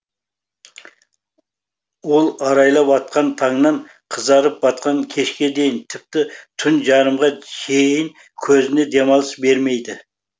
ол арайлап атқан таңнан қызарып батқан кешке дейін тіпті түн жарымға шейін көзіне демалыс бермейді